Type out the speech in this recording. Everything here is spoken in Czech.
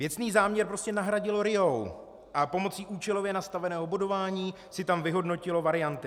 Věcný záměr prostě nahradil RIA a pomocí účelově nastaveného bodování si tam vyhodnotilo varianty.